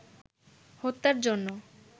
হত্যার জন্য